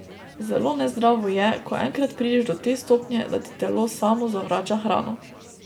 Zelo nezdravo je, ko enkrat prideš do te stopnje, da ti telo samo zavrača hrano.